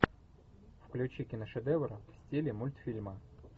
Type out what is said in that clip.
включи киношедевр в стиле мультфильма